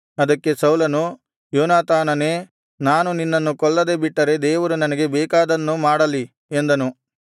ಅದಕ್ಕೆ ಸೌಲನು ಯೋನಾತಾನನೇ ನಾನು ನಿನ್ನನ್ನು ಕೊಲ್ಲದೆ ಬಿಟ್ಟರೆ ದೇವರು ನನಗೆ ಬೇಕಾದದ್ದನ್ನು ಮಾಡಲಿ ಎಂದನು